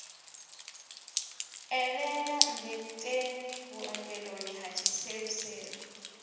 eḓela mmbeteni vhuongeloni ha tshiseluselu